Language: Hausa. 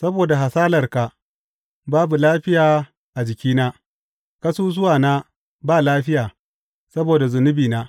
Saboda hasalarka babu lafiya a jikina; ƙasusuwana ba lafiya saboda zunubina.